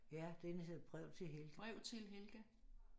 Ja den hedder Brev til Helga